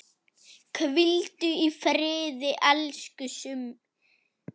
Hvíldu í friði, elsku Summi.